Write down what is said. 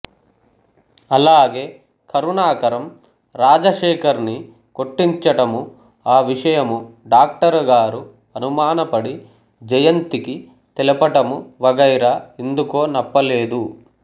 అలాగే కరుణాకరం రాజశేఖర్ ని కొట్టించటము ఆ విషయము డాక్టర్ గారు అనుమానపడి జయంతికి తెలపటము వగైరా ఎందుకో నప్పలేదు